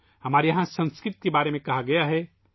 ہمارے یہاں سنسکرت کے بارے میں کہا گیا ہے